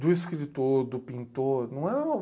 do escritor, do pintor. Não é uma